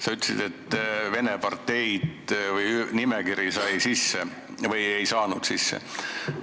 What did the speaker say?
Sa ütlesid, et vene parteid või nimekiri said sisse või ei saanud sisse.